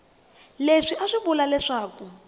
leswi a swi vula leswaku